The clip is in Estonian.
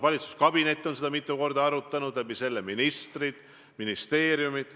Valitsuskabinet on seda mitu korda arutanud ja selle kaudu ka ministrid ja ministeeriumid.